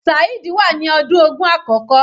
Saheed wà ní ọdún ogún àkókò.